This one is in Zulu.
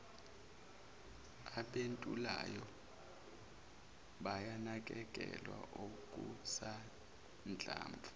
abentulayo bayanakekelwa okusanhlamvu